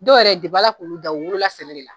Dɔ yɛrɛ Ala k'olu da, u wolola sɛnɛ de la